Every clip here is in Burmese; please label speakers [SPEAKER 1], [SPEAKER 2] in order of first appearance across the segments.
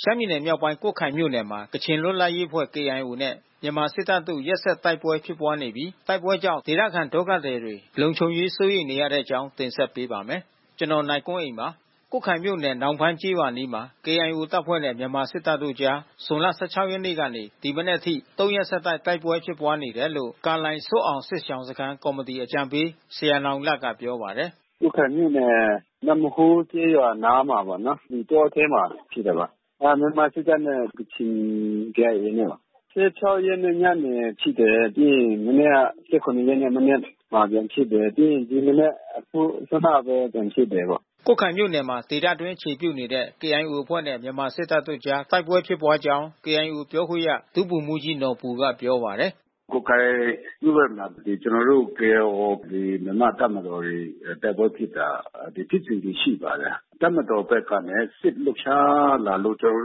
[SPEAKER 1] ရှမ်းပြည်နယ်မြောက်ပိုင်း ကွတ်ခိုင်မြို့နယ်မှာ ကချင်လွတ်လပ်ရေးအဖွဲ့ KIO နဲ့ မြန်မာစစ်တပ်တို့ ရက်ဆက်တိုက်ပွဲ ဖြစ်ပွားနေပြီး တိုက်ပွဲကြောင့် ဒေသခံ ဒုက္ခသည်တွေ လုံခြုံရေးစိုးရိမ်နေရတဲ့အကြောင်းကို ဗွီအိုအေမြန်မာပိုင်း သတင်းထောက် ကိုနိုင်ကွန်းအိန်းက တင်ဆက်ပေးပါမယ်။ ကွတ်ခိုင်မြို့နယ် နောင်ဖန်းကျေးရွာ အနီးမှာ KIO တပ်ဖွဲ့နဲ့ မြန်မာစစ်တပ်တို့အကြား ဇွန်လ ၁၆ ရက်နေ့ကနေ ဒီမနက်အထိ ၃ ရက်ဆက်တိုက်ပွဲဖြစ်ပွားနေတယ်လို့ ကာလိုင် ဇွတ်အောင် စစ်ရှောင်စခန်းကော်မီတီအကြံပေးဆရာ နောင်လတ်ကပြောပါတယ်
[SPEAKER 2] ။ “ကွတ်ခိုင်မြို့နယ် နမ့်ဟိုးကျေးရွာအနားမှာပေါ့နော်။ တောအထဲမှာ ဖြစ်တာပါ။ မြန်မာစစ်တပ်နဲ့ ကချင် KIA နဲ့။ ၁၆ ရက်နေ့ညနေဖြစ်တယ်။ ပြီးရင်မနေ့က ၁၇ ရက်နေ့ မနက်ကပြန်ဖြစ်တယ်။ ပြီးရင်ဒီမနက်အစောကပဲ ပြန်ဖြစ်တယ်ပေါ့။
[SPEAKER 1] " ကွတ်ခိုင်မြို့နယ်မှာ ဒေသအတွင်အခြေပြုနေတဲ့ KIO အဖွဲ့နဲ့ မြန်မာစစ်တပ်တို့အကြား တိုက်ပွဲဖြစ်ပွားကြောင်း KIO ပြောခွင့်ရ ဒုဗိုလ်မှူးကြီးနော်ဘူကပြောပါတယ်။ “ကွတ်ခ
[SPEAKER 2] ိုင်မြို့ဘက်မှာဆိုရင် ကျနော်တို့ KIO ဒီမြန်မာ့တပ်မတော်တွေ တိုက်ပွဲဖြစ်တာဖြစ်စဉ်တွေရှိပါတယ်။ တပ်မတော်ဘက်ကနဲ့ စစ်လှုပ်ရှားလာလို့ ကျနော်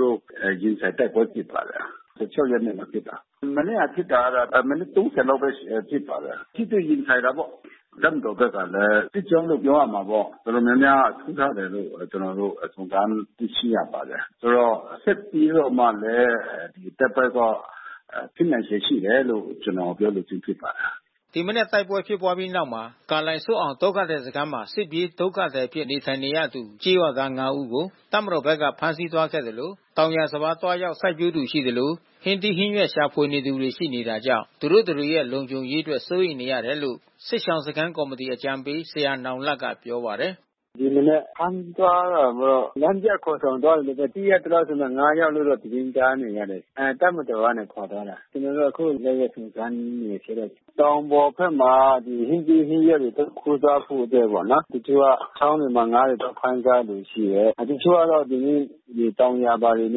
[SPEAKER 2] တို့ ရင်ဆိုင်တိုက်ပွဲဖြစ်ပါတယ်။ ၁၆ ရက်နေ့မှာ ဖြစ်တာ။ မနေ့က ဖြစ်တာတော့ မိနစ် ၃၀ လောက်ပဲ ဖြစ်ပါတယ်။ ထိတွေ့ရင်ဆိုင်တာပေါ့။ တပ်မတော်ဘက်ကလည်း စစ်ကြောင်းလို့ ပြောရမှာပေါ့။ တော်တော်များများစုထားတယ်လို့ ကျနော်တို့ စုံစမ်းသိရှိရပါတယ်။ ဆိုတော့ဆက်ပြီးတော့မှလည်း တိုက်ပွဲတော့ဖြစ်နိုင်ချေရှိတယ်လို့ ကျနော်ပြောလိုခြင်းဖြစ်ပါတယ်။”
[SPEAKER 1] ဒီမနက်တိုက်ပွဲဖြစ်ပွားပြီးတဲ့နောက်မှာ ကာလိုင် ဇွတ်အောင်ဒုက္ခသည်စခန်းမှာ စစ်ပြေးဒုက္ခသည်အဖြစ်နေထိုင်နေသူ ကျေးရွာသား ၅ ဦးကို တပ်မတော်ဘက်က ဖမ်းဆီးသွားခဲ့သလို တောင်ယာစပါးသွားရောက် စိုက်ပျိုးသူရှိသလို ဟင်းသီးဟင်းရွက်ရှာဖွေသူ ရှိနေတာကြောင့် သူတို့တတွေရဲ့ လုံခြုံရေးအတွက်စိုးရိမ်နေရတယ်လို့ စစ်ရှောင်စခန်း ကော်မီတီအကြံပေးဆရာ နောင်လတ်က ပြောပါတယ်
[SPEAKER 2] ။ “ဒီမနက် ဖမ်းသွားတာတော့ လမ်းပြခေါ်ဆောင်သွားတာလို့ပဲ သိရသလောက်ဆိုရင်တော့ ၅ ယောက်လို့တော့ သတင်းကြားနေရတယ်။ တပ်မတော်ကနေခေါ်သွားတာ။ ကျနော်အခုလိုက်လို့ စုံစမ်းနေဆဲပဲ။ တောင်ပေါ်ဘက်မှာ ဒီဟင်းသီးဟင်းရွက်သွားခူးစားဖို့အတွက်ပေါ့နော်။ တချို့က ချောင်းတွေမှာ ငါးတွေသွားဖမ်းကြတဲ့သူ ရှိတယ်။ တချို့ကျတော့ သူတို့တောင်ယာဘာတွေ န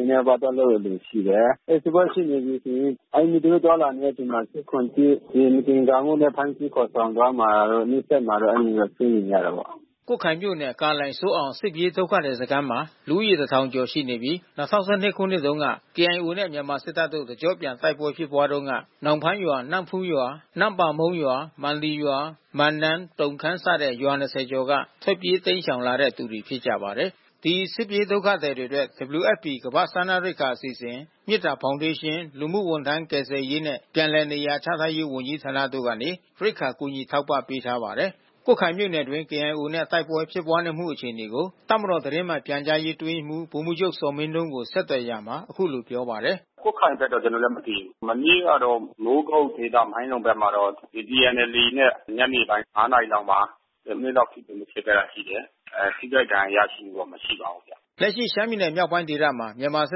[SPEAKER 2] ည်းနည်းပါးပါးလုပ်တဲ့သူ ရှိတယ်။ အဲတိုက်ပွဲ ရှိနေပြီဆိုရင် အဲဒီသူတို့သွားလာနေတဲ့ အချိန်မှာ ၁၇/၁ ဒီမသင်္ကာမှုနဲ့ ဖမ်းဆီးခေါ်ဆောင်သွားမှာတို့ နှိပ်စက်မှာတို့ အဲဒီလိုမျိုးစိုးရိမ်နေရတာပေါ့။”
[SPEAKER 1] ကွတ်ခိုင်မြို့နယ် ကာလိုင် ဇွတ်အောင် စစ်ပြေးဒုက္ခသည်စခန်းမှာ လူဦးရေ ၁,၀၀၀ ကျော်ရှိနေပြီး ၂၀၁၂ ခုနှစ်တုန်းက KIO နဲ့ မြန်မာစစ်တပ်တို့ တကျော့ပြန်တိုက်ပွဲဖြစ်တုန်းက နောင်ဖန်းရွာ နမ့်ဖူးကျေးရွာ နန့်ပါမုန်းရွာ မန်လီရွာ မန်နား တုန်းခမ်းစတဲ့ရွာ ၂၀ ကျော်က ထွက်ပြေးတိမ်းရှောင်လာတဲ့ သူတွေဖြစ်ကြပါတယ်။ ဒီစစ်ပြေးဒုက္ခသည်တွေအတွက် WFP ကမ္ဘာ့စားနပ်ရိက္ခာအစီအစဉ် မေတ္တာဖေါင်ဒေးရှင်း လူမှုဝန်ထမ်း ကယ်ဆယ်ရေးနဲ့ ပြန်လည်နေရာချထားရေး ဝန်ကြီးဌာနတို့ကနေ ရိက္ခာကူညီထောက်ပံ့ပေးထားပါတယ်။ ကွတ်ခိုင်မြို့နယ်အတွင်း KIO နဲ့ တိုက်ပွဲဖြစ်ပွါးမှုအခြေအနေကို တပ်မတော်သတင်းမှန်ပြန်ကြားရေးအတွင်းရေးမှူး ဗိုလ်မှူးချုပ်ဇော်မင်းထွန်းကို ဆက်သွယ်ရာမှာ အခုလိုပြောပါတယ်။
[SPEAKER 2] “ကွတ်ခိုင်ဘက်က ကျနော်လည်း မသိဘူး။ မနေ့ကတော့ မိုးကုတ်ဒေသမိုင်းလုံဘက်မှာတော့ ဒီ TNLA နဲ့ ညနေပိုင်း ၅ နာရီ လောက်မှာ ၁၀ မိနစ်လောက်ထိတွေ့မှု ဖြစ်ခဲ့တာရှိတယ်။ ထိခိုက်ဒဏ်ရာရရှိမှုတော့ မရှိပါဘူး
[SPEAKER 1] ။" လက်ရှိရှမ်းပြည်နယ်မြောက်ပိုင်းဒေသမှာ မြန်မာစ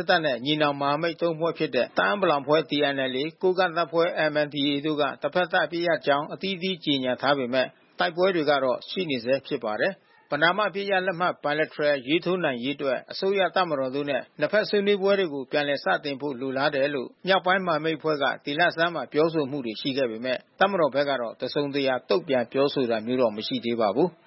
[SPEAKER 1] စ်တပ်နဲ့ ညီနောင်မဟာမိတ် ၃ ဖွဲ့ဖြစ်တဲ့ တအာင်းပလောင် အဖွဲ့ TNLA ကိုးကန့်တပ်ဖွဲ့ MNDAA တို့က တဘက်သပ်အပစ်ရပ်ကြောင်း အသီးသီးကြေညာထားပေမဲ့ တိုက်ပွဲတွေကတော့ ရှိနေဆဲဖြစ်ပါတယ်။ ပဏမ အပစ်ရပ်လက်မှတ် (Bilateral) ရေးထိုးနိုင်ရေးအတွက် အစိုးရ၊ တပ်မတော်တို့နဲ့ နှစ်ဘက် ဆွေးနွေးပွဲတွေကို ပြန်လည်စတင်ဖို့ လိုလားတယ်လို့ မြောက်ပိုင်းမဟာမိတ်အဖွဲ့က ဒီလဆန်းမှာ ပြောဆိုမှုတွေရှိနေပေမဲ့ တပ်မတော်ဘက်ကတော့ တစုံတရာတုံ့ပြန်ပြောဆိုတာမျိုး မရှိသေးပါဘူး။